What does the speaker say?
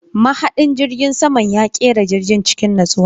Mahadin jirgin saman ya kera jirgin cikin natsuwa.